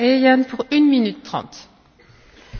Frau Präsidentin, liebe Kolleginnen und Kollegen!